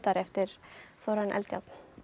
eftir Þórarin Eldjárn